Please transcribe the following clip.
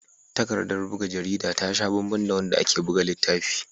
Takardar buga jarida ta sha banban da wadda ake buga littafi.